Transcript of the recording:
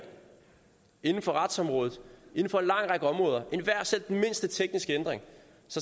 inden for retsområdet inden for en lang række områder selv den mindste tekniske ændring